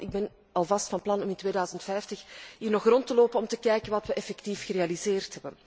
En ik zeg altijd 'Ik ben alvast van plan om in 2050 hier nog rond te lopen om te kijken wat we effectief hebben gerealiseerd.'